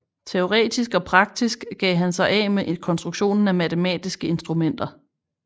Teoretisk og praktisk gav han sig af med konstruktionen af matematiske instrumenter